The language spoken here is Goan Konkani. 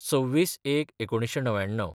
२६/०१/१९९९